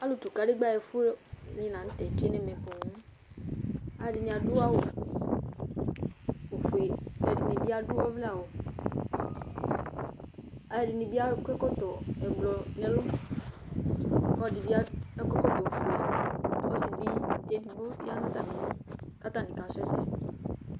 Alʋtʋ kadegbǝ ɛfʋnɩ la nʋ tɛ tsue nʋ ɛmɛ poo Alʋɛdɩnɩ adʋ awʋ ofue kʋ ɛdɩnɩ bɩ adʋ ɔvlɛawʋ, alʋɛdɩnɩ bɩ akɔ ɛkɔtɔ ɛblɔ nʋ ɛlʋ kʋ ɔlɔdɩ bɩ akɔ ɛkɔtɔ ofue Ɔsɩ bɩ edigbo ya nʋ atamɩli kʋ atanɩ kasʋ ɛsɛ